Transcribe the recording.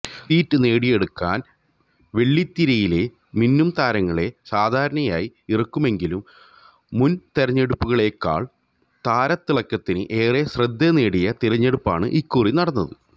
seat നേടിയെടുക്കാന് വെള്ളിത്തിരയിലെ മിന്നുംതാരങ്ങളെ സാധാരണയായി ഇറക്കുമെങ്കിലും മുന് തിരഞ്ഞെടുപ്പുകളേക്കാള് താരത്തിളക്കത്തിന് ഏറെ ശ്രദ്ധ നേടിയ തിരഞ്ഞെടുപ്പാണ് ഇക്കുറി നടന്നത്